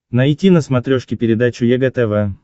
найти на смотрешке передачу егэ тв